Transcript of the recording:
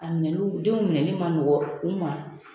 A minɛni denw minɛli man nɔgɔn u ma